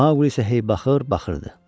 Maqli isə hey baxır, baxırdı.